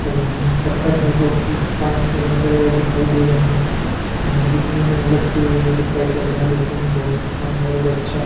पौ पत्थर हैं जोकि पानी के अंदर दिखाई दे रहे हैं दिखने में अलग मैजिक टाइप लग रहा है लेकिन बहोत ही शानदार और अच्छा --